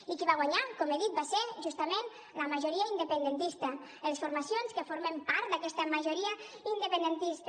i qui va guanyar com he dit va ser justament la majoria independentista les formacions que formem part d’aquesta majoria independentista